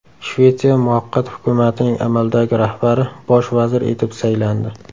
Shvetsiya muvaqqat hukumatining amaldagi rahbari bosh vazir etib saylandi.